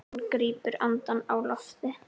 Hann grípur andann á lofti.